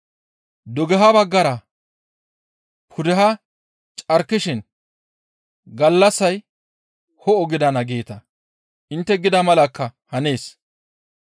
Dugeha baggara pudeha carkishin, ‹Gallassay ho7o gidana› geeta; intte gida malakka hanees.